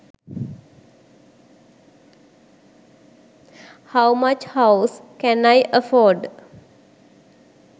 how much house can i afford